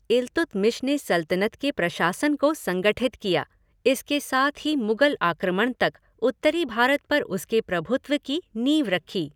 इल्तुतमिश ने सल्तनत के प्रशासन को संगठित किया, इसके साथ ही मुगल आक्रमण तक उत्तरी भारत पर उसके प्रभुत्व की नींव रखी।